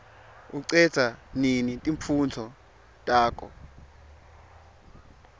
ucedza nini timfundvo takho